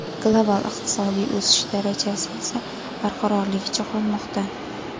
Global iqtisodiy o‘sish darajasi esa barqarorligicha qolmoqda.